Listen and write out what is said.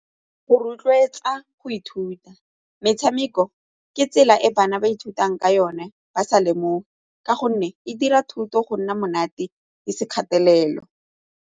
Go rotloetsa go ithuta, metshameko ke tsela e bana ba ithutang ka yone ba sa lemoge ka gonne e dira thuto go nna monate e se kgatelelo.